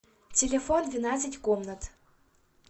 телефон двенадцать комнат